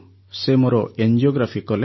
ସେ ମୋର ଏଂଜିୟୋଗ୍ରାଫି କଲେ